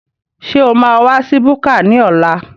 Ṣé o máa wa sí búkà ní ọ̀la?